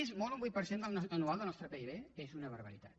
és molt un vuit per cent anual del nostre pib és una barbaritat